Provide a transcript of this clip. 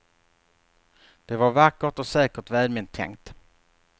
Det var vackert och säkert välment tänkt.